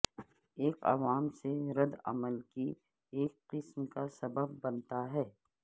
یہ عوام سے رد عمل کی ایک قسم کا سبب بنتا ہے